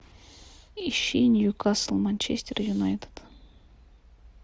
ищи ньюкасл манчестер юнайтед